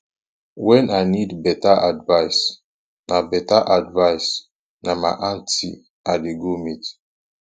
wen i need beta advice na beta advice na my aunty i dey go meet